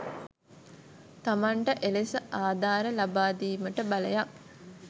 තමන්ට එලෙස ආධාර ලබා දීමට බලයක්